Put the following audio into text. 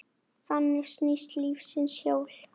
Þannig snýst lífsins hjól.